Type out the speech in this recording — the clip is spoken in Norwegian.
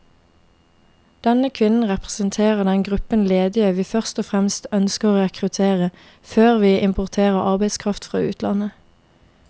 Denne kvinnen representerer den gruppen ledige vi først og fremst ønsker å rekruttere, før vi importerer arbeidskraft fra utlandet.